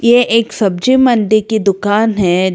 ये एक सब्जी मंडी की दुकान है।